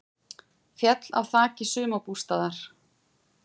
Féll af þaki sumarbústaðar